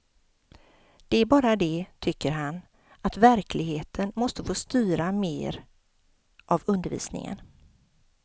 Det är bara det, tycker han, att verkligheten måste få styra mer av undervisningen.